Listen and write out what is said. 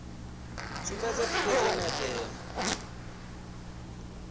sumbedza thikhedzo ine ya tea